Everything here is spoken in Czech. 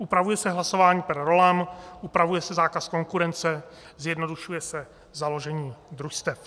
Upravuje se hlasování per rollam, upravuje se zákaz konkurence, zjednodušuje se založení družstev.